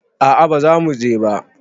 A'a bazamu je ba